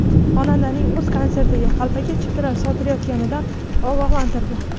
Xonandaning o‘zi konsertiga qalbaki chiptalar sotilayotganidan ogohlantirdi.